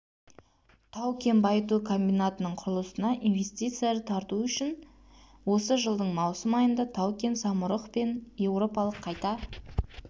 тау-кен байыту комбинатының құрылысына инвестиция тарту үшін осы жылдың маусым айында тау-кен самұрық мен еуропалық қайта